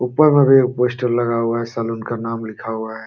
ऊपर में भी एक पोस्टर लगा हुआ है। सलून का नाम लिखा हुआ है।